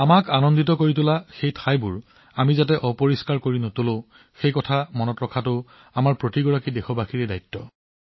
আমাক ইমান সুখ দিয়া ঠাইবোৰ অপৰিষ্কাৰ নকৰাটো প্ৰতিজন দেশবাসীৰ দায়িত্ব